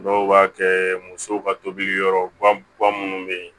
Dɔw b'a kɛ muso ka tobili yɔrɔ ba minnu bɛ yen